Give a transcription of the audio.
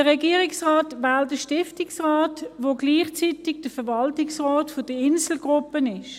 Der Regierungsrat wählt den Stiftungsrat, der gleichzeitig der Verwaltungsrat der Insel Gruppe AG ist.